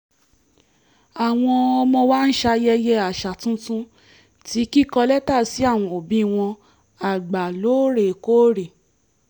àwọn ọmọ wa ń ṣayẹyẹ àṣà tuntun ti kíkọ lẹ́tà sí àwọn òbí wọn àgbà lóòrèkóòrè